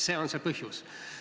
See on põhjus.